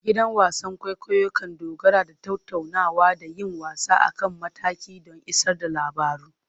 Gidan wasan kwaikwayo kan dogara da tattaunawa da yin wasa a kan mataki don isar da labaru.